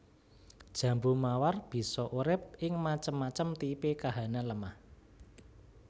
Jambu mawar bisa urip ing macem macem tipe kahanan lemah